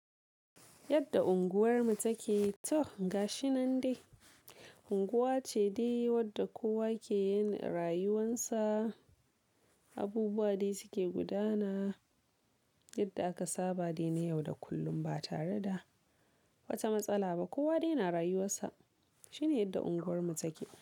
Yadda unguwarmu take? To gashi nan dai. Unguwa ce dai wadda kowa ke yin rayuwansa, abubuwa dai suke gudana, yadda aka saba dai na yau da kullum ba tare da wata matsala ba. Kowa dai na rayuwarsa. Shine yadda unguwarmu take.